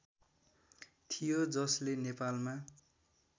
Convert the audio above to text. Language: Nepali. थियो जसले नेपालमा